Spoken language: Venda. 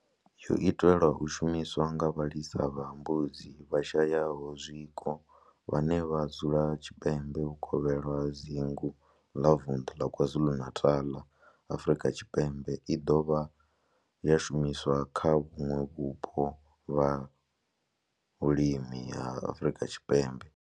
Yo itelwa u shumiswa nga vhalisa vha mbudzi vhashayaho zwiko vhane vha dzula tshipembe vhukovhela ha dzingu la vunḓu la KwaZulu-Natal, Afrika Tshipembe i do dovha ya shumiswa kha vhuṋwe vhupo ha vhulimi ha Afrika Tshipembe.